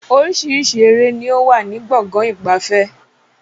Oríṣiríṣi ère ni ó wà ní Gbọ̀ngán ìgbafẹ́